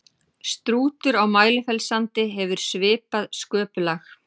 strútur á mælifellssandi hefur svipað sköpulag